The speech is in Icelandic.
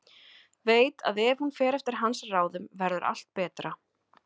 Veit að ef hún fer eftir hans ráðum verður allt betra.